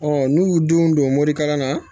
Ɔ n'u y'u denw don morikalan na